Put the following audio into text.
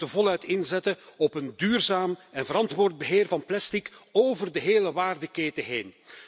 We moeten voluit inzetten op een duurzaam en verantwoord beheer van plastic door de hele waardeketen heen.